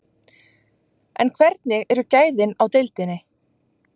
En hvernig eru gæðin í deildinni?